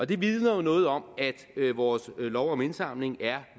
det vidner jo noget om at vores lov om indsamling er